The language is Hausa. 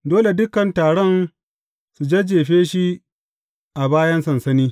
Dole dukan taron su jajjefe shi a bayan sansani.